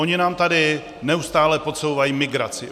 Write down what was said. Oni nám tady neustále podsouvají migraci.